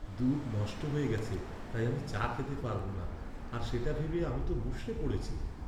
দুধ নষ্ট হয়ে গেছে তাই আমি চা খেতে পারব না আর সেটা ভেবে আমি তো মুষড়ে পড়েছি।